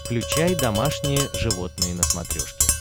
включай домашние животные на смотрешке